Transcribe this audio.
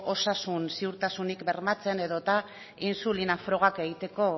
osasun ziurtasunik bermatzen edota intsulina frogak egiteko